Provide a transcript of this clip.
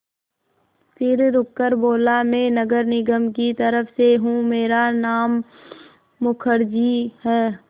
फिर रुककर बोला मैं नगर निगम की तरफ़ से हूँ मेरा नाम मुखर्जी है